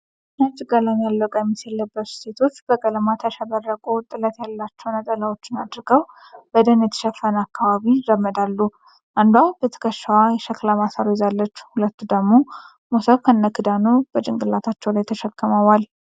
ነጭ ቀለም ያለው ቀሚስ የለበሱ ሴቶች በቀለማት ያሸበረቁ ጥለት ያላቸው ነጠላዎችን አድርገው በደን የተሸፈነ አካባቢ ይራመዳሉ። አንዷ በትከሻዋ የሸክላ ማሰሮ ይዛለች ሁለቱ ደግሞ ሞሰብ ከነክዳኑ በጭንቅላታቸው ላይ ተሸክመዋል።